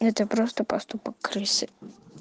это просто поступок крысы